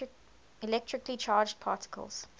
electrically charged particles